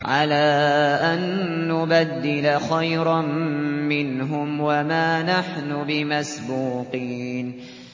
عَلَىٰ أَن نُّبَدِّلَ خَيْرًا مِّنْهُمْ وَمَا نَحْنُ بِمَسْبُوقِينَ